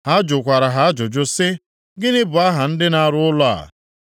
Ha jụkwara ha ajụjụ sị: “Gịnị bụ aha ndị na-arụ ụlọ a?”